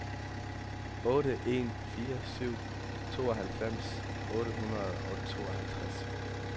otte en fire syv tooghalvfems otte hundrede og tooghalvtreds